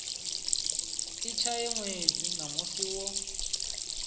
i tshaye ṅwedzi namusi wo